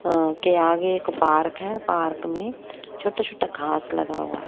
अ के आगे एक पार्क है पार्क में छोटा छोटा घास लगा हुआ है।